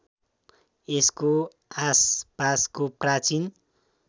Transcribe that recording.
यसको आसपासको प्राचीन